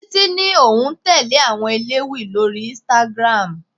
Títí ní òun tẹle àwọn elewi lórí Instagram.